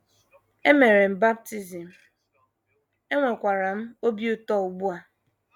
E mere m baptism, enwekwara m obi ụtọ ugbu a. ”